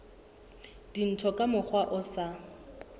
dintho ka mokgwa o sa